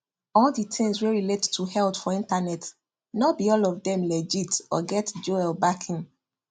all the things wey relate to health for internet no be all of them legit or get joel backing